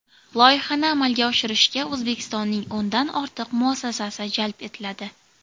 Loyihani amalga oshirishga O‘zbekistonning o‘ndan ortiq muassasasi jalb etiladi.